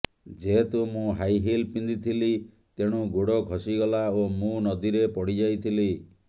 ଯେହେତୁ ମୁଁ high heel ପିନ୍ଧିଥିଲି ତେଣୁ ଗୋଡ଼ ଖସିଗଲା ଓ ମୁଁ ନଦୀରେ ପଡ଼ି ଯାଇଥିଲି